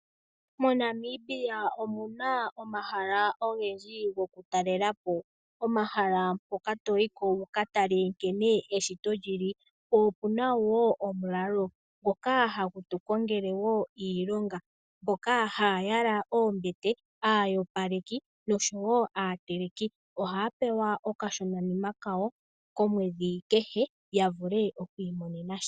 MoNamibia omuna omahala ogendji go kutalelapo, omahala mpoka toyiko ukatale nkene eshito lili, po opuna wo omulalo, mpoka ha putukongele wo iilonga, mpoka haayala oombete, aayopaleki noshowo aateleki ohaapewa okashonanima kawo komwedhi kehe yavule okwiimonena sha.